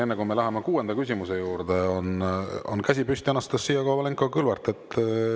Enne kui me läheme kuuenda küsimuse juurde, on käsi püsti Anastassia Kovalenko-Kõlvartil.